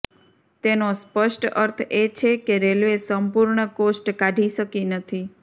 તેનો સ્પષ્ટ અર્થ એ છે કે રેલવે સંપૂર્ણ કોસ્ટ કાઢી શકી નથી